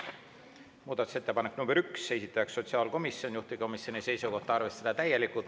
Muudatusettepanek nr 1, esitaja on sotsiaalkomisjon, juhtivkomisjoni seisukoht on arvestada seda täielikult.